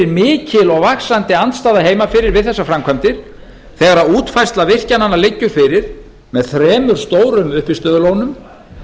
mikil og vaxandi andstaða heima fyrir við þessar framkvvæmdir þegar útfærsla virkjananna liggur fyrir með þremur stórum uppistöðulónum